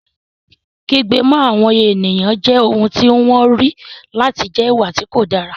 Kí kígbe mọ́ àwọn èèyàn jẹ́ ohun tí wọ́n rí láti jẹ́ ìwà tí kò dáa